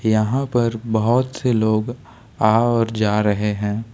यहां पर बहोत से लोग आ और जा रहे हैं।